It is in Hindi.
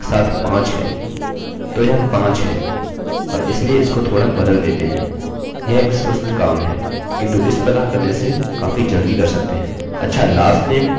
अच्छा lastname और हमारे पास डेट ऑफ़ बर्थ है हमारे पास जेंडरgenderभी है